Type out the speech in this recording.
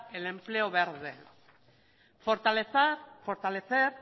el empleo verde fortalecer